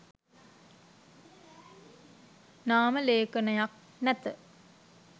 නාම ලේඛනයක් නැත.